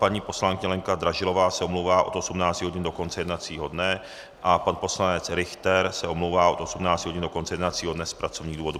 Paní poslankyně Lenka Dražilová se omlouvá od 18 hodin do konce jednacího dne a pan poslanec Richter se omlouvá od 18 hodin do konce jednacího dne z pracovních důvodů.